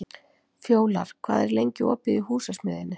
Fjólar, hvað er lengi opið í Húsasmiðjunni?